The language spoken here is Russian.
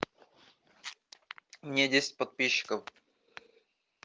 мне десять подписчиков